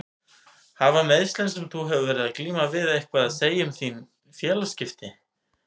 Hafa meiðslin sem að þú hefur verið að glíma við eitthvað að segja um félagsskiptin?